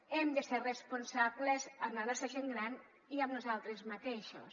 hem de ser responsables amb la nostra gent gran i amb nosaltres mateixos